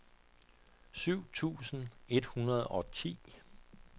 syv tusind et hundrede og ti